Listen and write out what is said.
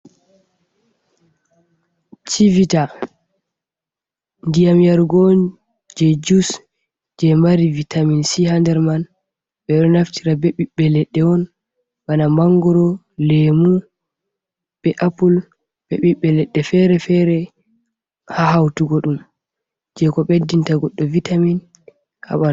"Chivita" ndiyam yarugo on je jus je mari vitamin si ha nder man ɓeɗo naftira be biɓɓe leɗɗe on bana mangoro lemu be apple be ɓiɓɓe leɗɗe fere fere ha hautugo ɗum je ko ɓeddinta goɗɗo vitamin.